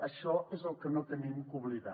això és el que no hem d’oblidar